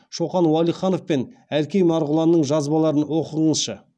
шоқан уәлиханов пен әлкей марғұланның жазбаларын оқығңызшы